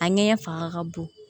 A ɲɛgɛn fanga ka bon